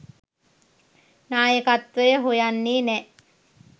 නායකත්වය හොයන්නෙ නෑ